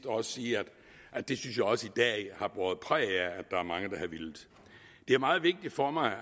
også sige at det synes jeg også debatten i dag har båret præg af at er mange der har villet det er meget vigtigt for mig at